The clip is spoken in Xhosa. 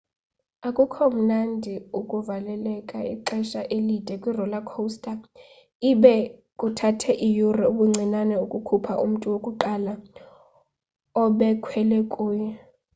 akukho mnandi ukuvaleleka ixesha elide kwi-roller coaster ibe kuthathe iyure ubuncinane ukukhupha umntu wokuqala obekhwele kuyo